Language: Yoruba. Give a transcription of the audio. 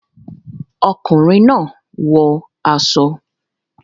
Ọkùnrin náà wọ aṣọ